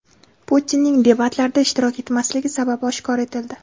Putinning debatlarda ishtirok etmasligi sababi oshkor etildi.